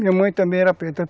Minha mãe também era preta.